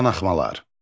Qanaxmalar.